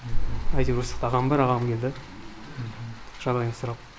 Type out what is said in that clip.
әйтеуір осақта ағам бар ағам келді жағдайымды сұрап